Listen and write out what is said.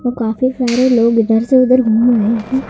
वो काफी सारे लोग इधर से उधर घूम रहे हैं।